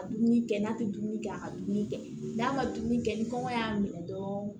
Ka dumuni kɛ n'a tɛ dumuni kɛ a ka dumuni kɛ n'a ma dumuni kɛ ni kɔngɔ y'a minɛ dɔrɔn